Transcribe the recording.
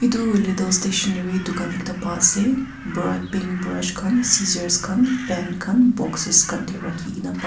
Tu hoile tu stationary tugan ekta pai ase brut pink brush khan scissor khan pen khan boxes khan tey rakhe kena pa--